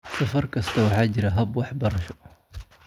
Safar kasta, waxaa jira hab-waxbarasho."